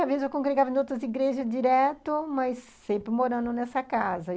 Às vezes, eu congregava em outras igrejas direto, mas sempre morando nessa casa.